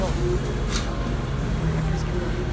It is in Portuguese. Bom, não é por isso que morreu.